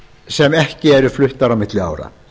sem ekki eru fluttar á milli ára